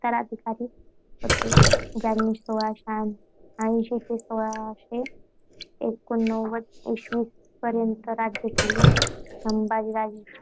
उत्तराधिकारी होते ज्यांनी सोळाशे ऐंशी ते सोळाशे एकोणनव्वद इसवीपर्यंत राज्य केले. संभाजीच्या